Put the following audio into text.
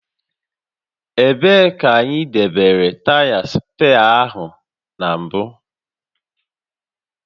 Ebee ka anyị debere taya spee áhụ na mbụ?